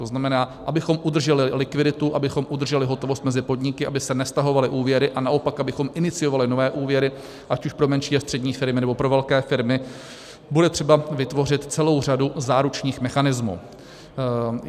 To znamená, abychom udrželi likviditu, abychom udrželi hotovost mezi podniky, aby se nestahovaly úvěry, a naopak abychom iniciovali nové úvěry ať už pro menší a střední firmy, nebo pro velké firmy, bude třeba vytvořit celou řadu záručních mechanismů.